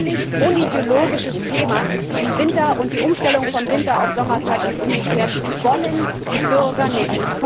Es ist ein völlig unideologisches Thema Die Umstellung von Winter auf Sommerzeit und umgekehrt wollen die Bürger nicht.